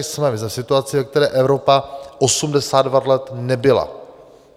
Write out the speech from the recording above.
My jsme v situaci, ve které Evropa 82 let nebyla.